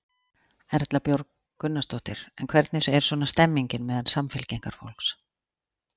Erla Björg Gunnarsdóttir: En hvernig er svona stemningin meðal Samfylkingarfólks?